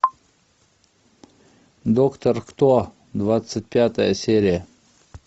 доктор кто двадцать пятая серия